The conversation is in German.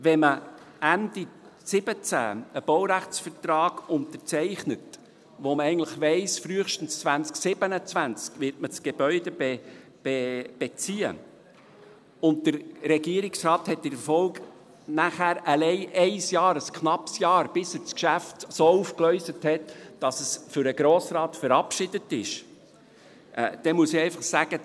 Wenn man Ende 2017 einen Baurechtsvertrag unterzeichnet, bei dem man eigentlich weiss, dass man das Gebäude frühestens 2027 beziehen wird, und wenn der Regierungsrat in der Folge allein ein Jahr, ein knappes Jahr hat, bis er das Geschäft so aufgegleist hat, dass es für den Grossen Rat verabschiedet ist, dann muss ich einfach sagen: